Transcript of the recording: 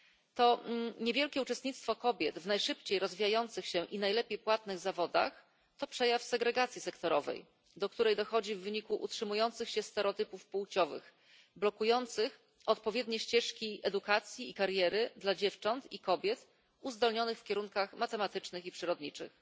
To niewielkie uczestnictwo kobiet w najszybciej rozwijających się i najlepiej płatnych zawodach to przejaw segregacji sektorowej, do której dochodzi w wyniku utrzymujących się stereotypów płciowych, blokujących odpowiednie ścieżki edukacji i kariery dla dziewcząt i kobiet uzdolnionych w kierunkach matematycznych i przyrodniczych.